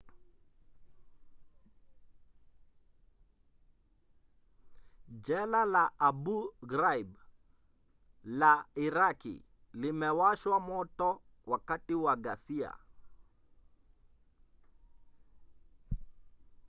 jela la abu ghraib la iraki limewashwa moto wakati wa ghasia